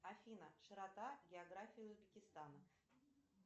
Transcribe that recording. афина широта географии узбекистана